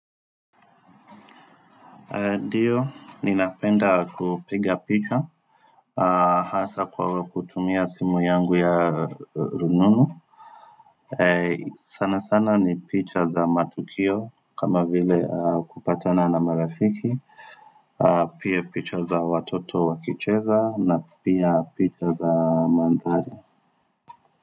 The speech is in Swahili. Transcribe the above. nDio, ninapenda kupiga picha, hasa kwa kutumia simu yangu ya rununu sana sana ni picha za matukio kama vile kupatana na marafiki Pia picha za watoto wakicheza na pia picha za mandhari.